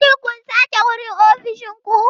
Shin kun sake wurin ofishin ku?